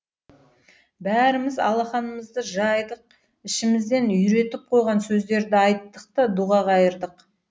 бәріміз алақанымызды жайдық ішімізден үйретіп қойған сөздерді айттық та дұға қайырдық